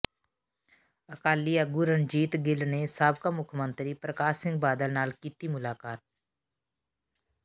ਅਕਾਲੀ ਆਗੂ ਰਣਜੀਤ ਗਿੱਲ ਨੇ ਸਾਬਕਾ ਮੁੱਖ ਮੰਤਰੀ ਪ੍ਰਕਾਸ਼ ਸਿੰਘ ਬਾਦਲ ਨਾਲ ਕੀਤੀ ਮੁਲਾਕਾਤ